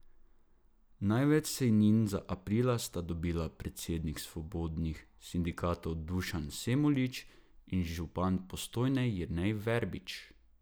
Največ sejnin za april sta dobila predsednik svobodnih sindikatov Dušan Semolič in župan Postojne Jernej Verbič.